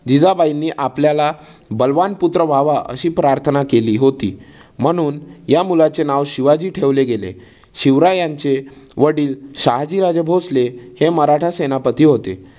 जिजाबाईनी आपल्याला बलवान पुत्र व्हावा अशी प्रार्थना केली होती. म्हणून या मुलाचे नाव शिवाजी ठेवले गेले. शिवरायांचे वडील शहाजी राजेभोसले हे मराठा सेनापती होते.